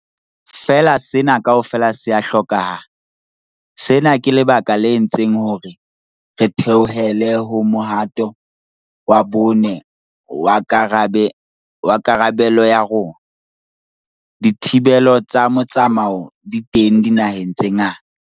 Feela sena kaofela se a hlokahala. Sena ke lebaka le entseng hore re theohele ho mohato wa bone wa karabe-lo ya rona. Dithibelo tsa motsamao di teng dinaheng tse ngata.